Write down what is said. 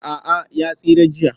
A'a ya tsira jiya